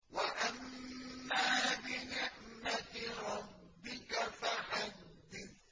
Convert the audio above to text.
وَأَمَّا بِنِعْمَةِ رَبِّكَ فَحَدِّثْ